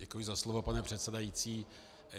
Děkuji za slovo, pane předsedající.